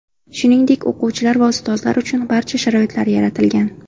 Shuningdek, o‘quvchilar va ustozlar uchun barcha sharoitlar yaratilgan.